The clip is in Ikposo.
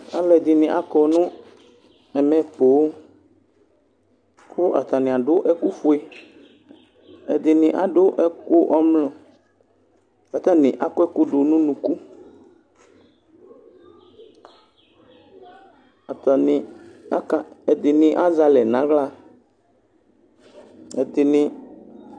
Alʋ ɛdini kɔnʋ ɛmɛ poo kʋ atani adʋ ɛkʋfue ɛdini adʋ ɛkʋ ɔmlɔ kʋ atani akɔ ɛkʋ dʋnʋ ʋnʋkʋ ɛdini azɛ alɛ nʋ aɣla